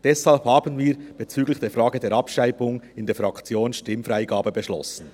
Deshalb haben wir bezüglich der Frage der Abschreibung in der Fraktion Stimmfreigabe beschlossen.